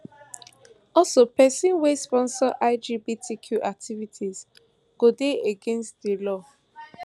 also pesin wey sponsor lgbtq activities go dey against di law